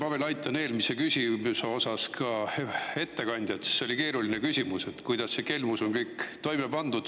Ma veel aitan eelmise küsimuse osas ka ettekandjat, sest see oli keeruline küsimus, et kuidas see kelmus on kõik toime pandud.